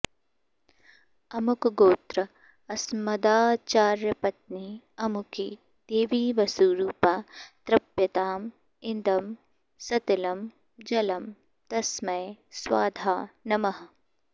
अमुकगोत्र अस्मदाचार्यपत्नी अमुकी देवी वसुरूपा तृप्यताम् इदं सतिलं जलं तस्मै स्वधा नमः